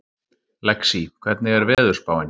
Lexí, hvernig er veðurspáin?